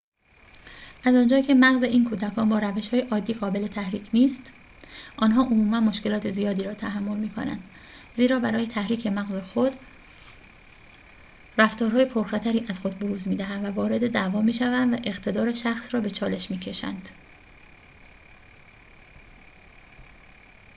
از آنجایی که مغز این کودکان با روش‌های عادی قابل تحریک نیست آن‌ها عموماً مشکلات زیادی را تحمل می‌کنند زیرا برای تحریک مغز خود رفتارهای پرخطری از خود بروز می‌دهند و وارد دعوا می‌شوند و اقتدار شخص را به چالش می‌کشند